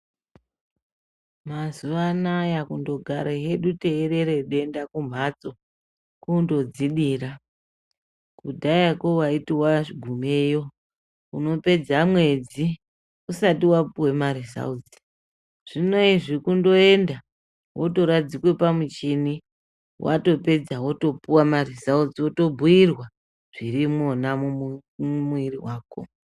Mazuvanaya kundogara hedu teirera denda kumbatso kundodzidira kudhayako waiti wagumayo unopedza mwedzi usati wapuwa marizautsi zvineizvi kundoenda wotoradzikwa pamuchini wotopedza wotopuwa maresults woobhiyirwa mumwiiri wako .